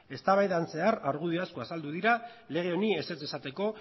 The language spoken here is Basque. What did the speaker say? eztabaidaren zehar argudio asko azaldu dira lege honi ezetz esateko